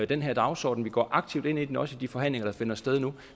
den her dagsorden vi går aktivt ind i den også i de forhandlinger der finder sted nu